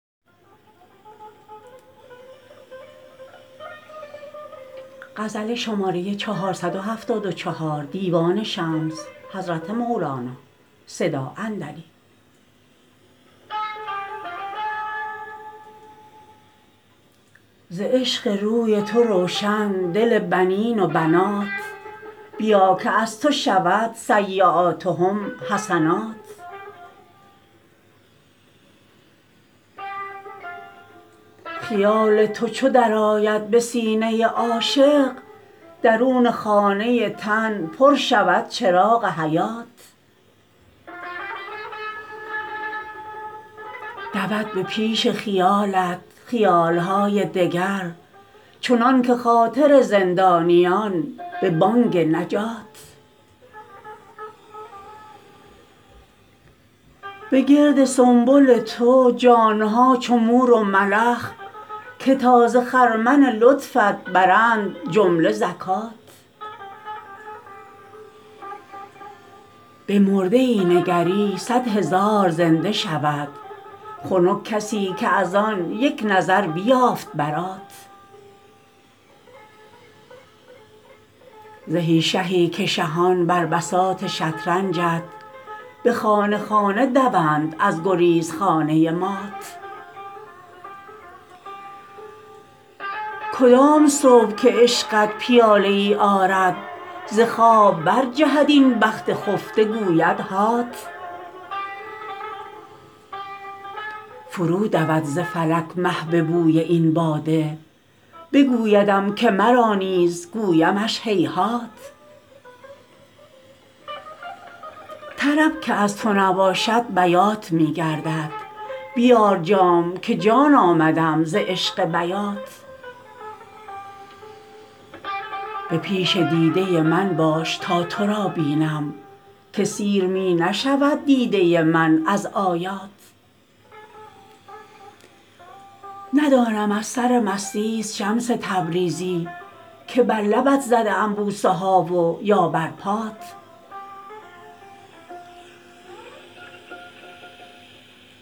ز عشق روی تو روشن دل بنین و بنات بیا که از تو شود سییاتهم حسنات خیال تو چو درآید به سینه عاشق درون خانه تن پر شود چراغ حیات دود به پیش خیالت خیال های دگر چنانک خاطر زندانیان به بانگ نجات به گرد سنبل تو جان ها چو مور و ملخ که تا ز خرمن لطفت برند جمله زکات به مرده ای نگری صد هزار زنده شود خنک کسی که از آن یک نظر بیافت برات زهی شهی که شهان بر بساط شطرنجت به خانه خانه دوند از گریزخانه مات کدام صبح که عشقت پیاله ای آرد ز خواب برجهد این بخت خفته گویدهات فرودود ز فلک مه به بوی این باده بگویدم که مرا نیز گویمش هیهات طرب که از تو نباشد بیات می گردد بیار جام که جان آمدم ز عشق بیات به پیش دیده من باش تا تو را بینم که سیر می نشود دیده من از آیات ندانم از سرمستیست شمس تبریزی که بر لبت زده ام بوسه ها و یا بر پات